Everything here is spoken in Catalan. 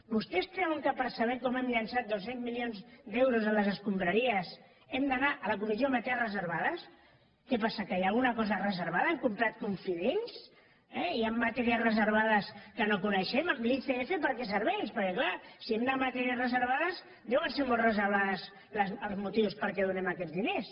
vostès creuen que per saber com hem llençat dos cents milions d’euros a les escombraries hem d’anar a la comissió de matèries reservades què passa que hi ha alguna cosa reservada hem comprat confidents eh hi han matèries reservades que no coneixem l’icf per a què serveix perquè clar si hem d’anar a matèries reservades deuen ser molt reservats els motius perquè donem aquests diners